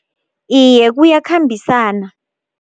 Iye, kuyakhambisana.